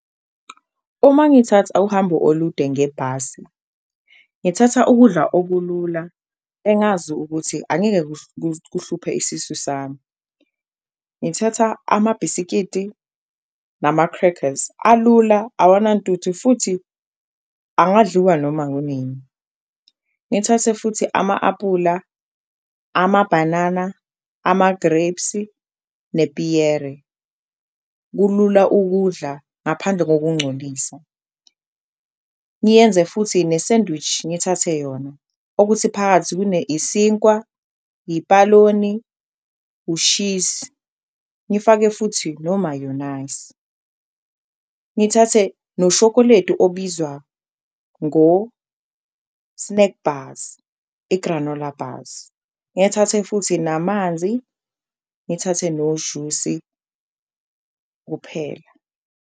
Uma ngithatha uhambo olude ngebhasi, ngithatha ukudla okulula engazi ukuthi angeke kuhluphe isisu sami ngithatha amabhiskidi nama-crackers alula awunantuthu futhi angadliwa noma ngukunini ngithathe futhi ama-apula amabhanana, amagrebhisi nepiyere kulula ukudla ngaphandle kokuncolisa. Ngiyenze futhi ne-sandwich ngithathe yona okuthi phakathi kune isinkwa, ipaloni, ushisi ngifake futhi nomayonayisi, ngithathe nosholeti obizwa ngo-snack bars igranola bars, ngithathe futhi namanzi, ngithathe nojusi kuphela.